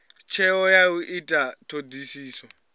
tsheo ya u ita thodisiso